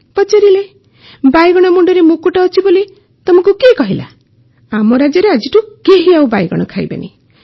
ପଚାରିଲେ ବାଇଗଣ ମୁଣ୍ଡରେ ମୁକୁଟ ଅଛି ବୋଲି ତୁମକୁ କିଏ କହିଲା ଆମ ରାଜ୍ୟରେ ଆଜିଠୁ କେହି ବାଇଗଣ ଖାଇବେ ନାହିଁ